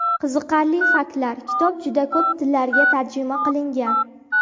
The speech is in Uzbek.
Qiziqarli faktlar - Kitob juda ko‘p tillarga tarjima qilingan.